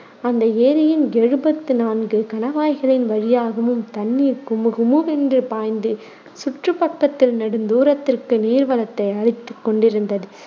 அந்த ஏரியின் எழுபத்து நான்கு கணவாய்களின் வழியாகவும் தண்ணீர் குமுகுமுவென்று பாய்ந்து சுற்றுப் பக்கத்தில் நெடுந்தூரத்துக்கு நீர்வளத்தை அளித்துக் கொண்டிருந்தது.